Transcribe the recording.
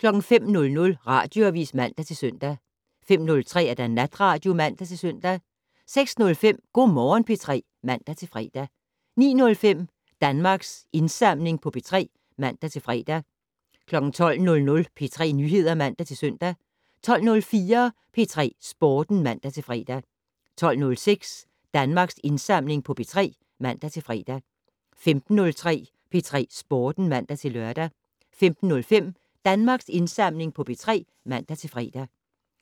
05:00: Radioavis (man-søn) 05:03: Natradio (man-søn) 06:05: Go' Morgen P3 (man-fre) 09:05: Danmarks Indsamling på P3 (man-fre) 12:00: P3 Nyheder (man-søn) 12:04: P3 Sporten (man-fre) 12:06: Danmarks Indsamling på P3 (man-fre) 15:03: P3 Sporten (man-lør) 15:05: Danmarks Indsamling på P3 (man-fre)